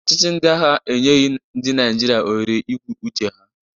Ọchịchị ndị agha enyeghị ndị Naịjirịa ohere ikwu uche ha.